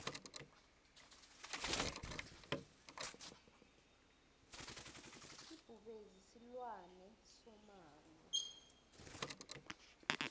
ibhubezi silwane somango